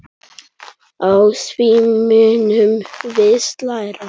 Á því munum við læra.